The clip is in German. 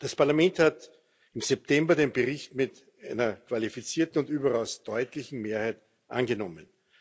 Das Parlament hat im September den Bericht mit einer qualifizierten und überaus deutlichen Mehrheit angenommen.